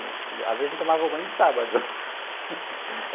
Às vezes, a gente tomava banho de sábado.